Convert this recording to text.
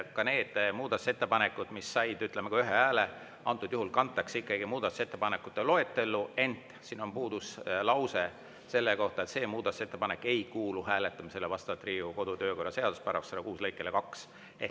Ka need muudatusettepanekud, mis said ühe hääle, antud juhul kantakse ikkagi muudatusettepanekute loetellu, ent siin on puudu lause selle kohta, et "see muudatusettepanek ei kuulu hääletamisele vastavalt Riigikogu kodu- ja töökorra seaduse § 106 lõikele 2".